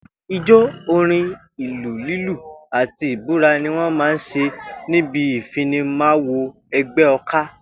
Ijó, orín, ìlù lílù àti ìbúra ni wó̩n máa ń s̩e níbi ìfinimawo e̩gbé̩ o̩ká